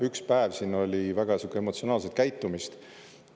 Üks päev siin oli väga sihukest emotsionaalset käitumist.